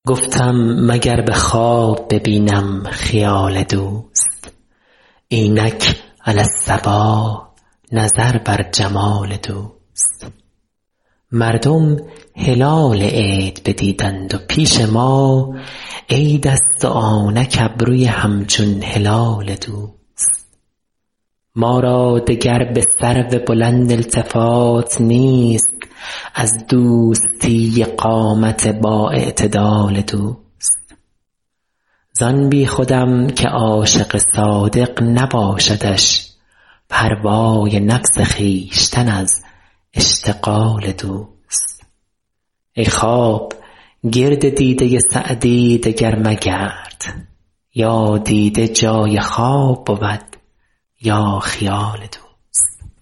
گفتم مگر به خواب ببینم خیال دوست اینک علی الصباح نظر بر جمال دوست مردم هلال عید ندیدند و پیش ما عیدست و آنک ابروی همچون هلال دوست ما را دگر به سرو بلند التفات نیست از دوستی قامت بااعتدال دوست زان بیخودم که عاشق صادق نباشدش پروای نفس خویشتن از اشتغال دوست ای خواب گرد دیده سعدی دگر مگرد یا دیده جای خواب بود یا خیال دوست